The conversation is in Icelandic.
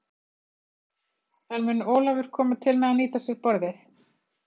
En mun Ólafur koma til með að nýta sér borðið?